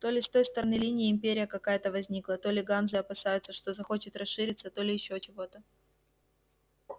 то ли с той стороны линии империя какая-то возникла то ли ганзы опасаются что захочет расшириться то ли ещё чего-то